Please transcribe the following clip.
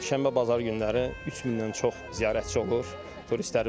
Şənbə-bazar günləri 3000-dən çox ziyarətçi olur, turistlərimiz olur.